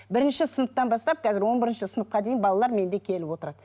бірінші сыныптан бастап қазір он бірінші сыныпқа дейін балалар менде келіп отырады